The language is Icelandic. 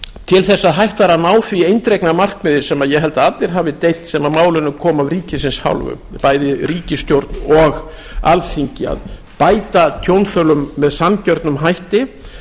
til þess að hægt væri að ná því eindregna markmiði sem ég held að allir hafi deilt sem að málinu komu af ríkisins hálfu bæði ríkisstjórn og alþingi að bæta tjónþolum með sanngjörnum hætti